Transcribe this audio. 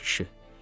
Nə olub, ay kişi?